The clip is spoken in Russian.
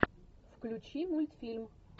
включи мультфильм